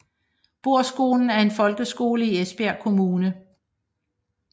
Bohrskolen er en folkeskole i Esbjerg Kommune